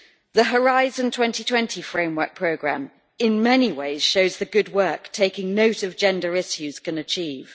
The Horizon 2020 Framework Programme in many ways shows the good work taking note of gender issues can achieve.